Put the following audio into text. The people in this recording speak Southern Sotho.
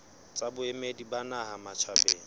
tsa boemedi ba naha matjhabeng